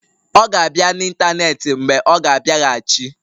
Ọ ga-abịa n'ịntanetị mgbe ọ ga-abịaghachi.